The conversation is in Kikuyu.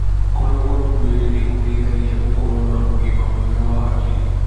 Kũnogora mwĩri nĩgũteithagia gukorwo na ũgima mwega wa hakiri.